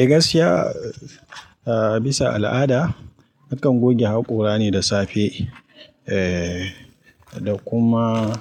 Eh gaskiya, eh bisa al'ada nakan goge haƙora ne da safe eh da kuma